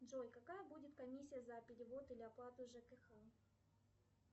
джой какая будет комиссия за перевод или оплату жкх